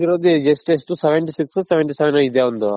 seventy six O seventy seven O ಇದೆ ಅವ್ನದು.